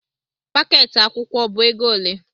Pakeeti akwụkwọ ọ bụ ego ole?